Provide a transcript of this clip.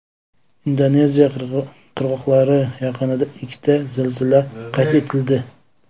Indoneziya qirg‘oqlari yaqinida ikkita zilzila qayd etildi.